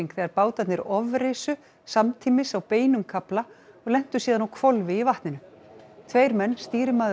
þegar bátarnir samtímis á beinum kafla og lentu síðan á hvolfi í vatninu tveir menn stýrimaður og